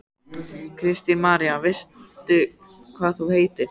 Kristín María: Veistu hvað hún heitir?